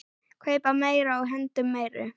Kaupa meira og hendum meiru.